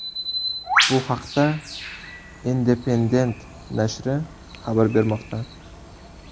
Bu haqda Independent nashri xabar bermoqda .